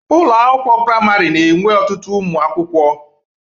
Ụlọ akwụkwọ praịmarị na-enwe ọtụtu ụmụ akwuụkwọ.